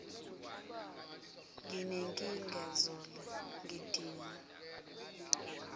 nginenkinga zola ngidinga